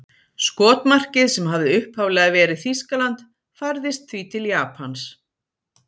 Skotmarkið sem hafði upphaflega verið Þýskaland færðist því til Japans.